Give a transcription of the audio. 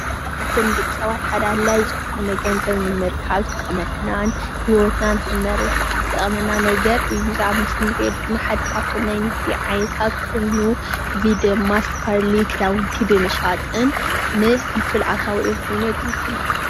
ኻፍቶም ንደቂሰባት ሓደ ኣድላዩ ዝኾነ ገንዘብ ንምርካብ ዝጠቅመናን ሂወትና ንኽንመርሕ ዝጠቅመና ነገር እዩ። ኤዚ ኣብ ምስሊ እንሪኦ ድማ እንዳ ክዳውንታ ምሽጥን ንፍልፍል ኣታውኦም ኮይኑ የገልግሎም።